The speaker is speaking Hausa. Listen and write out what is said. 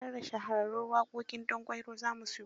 Har da Shahararrun waƙoƙin Danƙwairo za mu siyo.